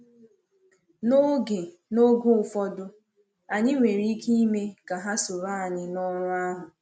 N’oge N’oge ụfọdụ, anyị nwere ike ime ka ha soro anyị n’ọrụ ahụ.